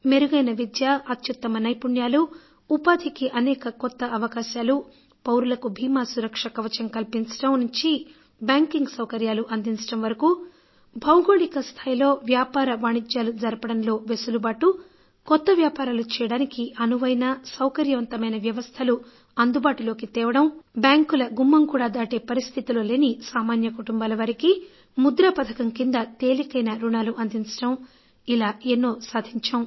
మెరుగైన విద్య అత్యుత్తమ నైపుణ్యాలు ఉపాధికి అనేక కొత్త అవకాశాలు పౌరులకు బీమా సురక్ష కవచం కల్పించడం నుంచి బ్యాంకింగ్ సౌకర్యాలు అందించడం వరకు భౌగోళిక స్థాయిలో వ్యాపార వాణిజ్యాలు జరపడంలో వెసులుబాటు కొత్త వ్యాపారాలు చేయడానికి అనువైన సౌకర్యవంతమైన వ్యవస్థలు అందుబాటులోకి తీసుకురావడం బ్యాంకుల గుమ్మం కూడా దాటే పరిస్థితిలో లేని సామాన్య కుటుంబాలవారికి ముద్రా పథకం కింద తేలికైన రుణాలు అందించడం ఇలా ఎన్నో సాధించాం